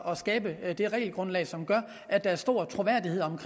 at skabe det regelgrundlag som gør at der er stor troværdighed om den